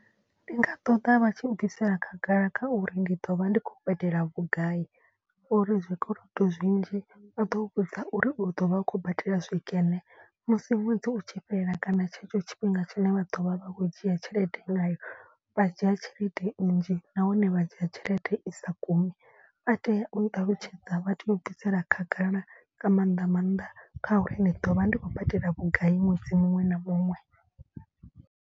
Ndi nga ṱoḓa vha tshi bvisela khagala kha uri ndi ḓo vha ndi khou badela vhugai. Uri zwikolodo zwinzhi u ḓo vhudza uri u ḓo vha u khou badela zwikene musi ṅwedzi u tshi fhela kana tshetsho tshifhinga tshine vha ḓo vha vha khou dzhia tshelede ngayo. Vha dzhia tshelede nnzhi nahone vha dzhia tshelede i sa gumi. Vha tea u ṱalutshedza vha tea u bvisela khagala nga maanḓa maanḓa khauri ndi ḓo vha ndi khou badela vhugai ṅwedzi muṅwe na muṅwe.